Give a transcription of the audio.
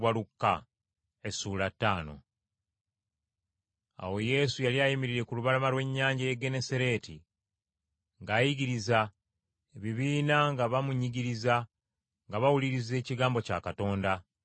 Awo Yesu yali ayimiridde ku lubalama lw’ennyanja y’e Genesaleeti ng’ayigiriza, ebibiina nga bamunyigiriza nga bawuliriza ekigambo kya Katonda,